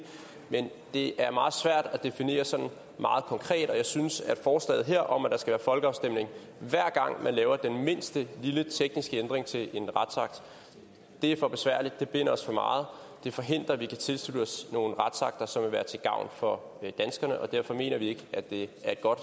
men det er meget svært at definere sådan meget konkret og jeg synes at forslaget her om at der skal være folkeafstemning hver gang man laver den mindste lille tekniske ændring til en retsakt er for besværligt det binder os for meget det forhindrer at vi kan tilslutte os nogle retsakter som vil være til gavn for danskerne og derfor mener vi ikke at det